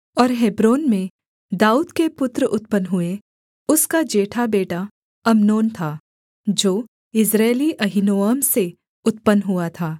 और हेब्रोन में दाऊद के पुत्र उत्पन्न हुए उसका जेठा बेटा अम्नोन था जो यिज्रेली अहीनोअम से उत्पन्न हुआ था